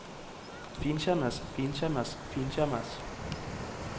finkjemmes finkjemmes finkjemmes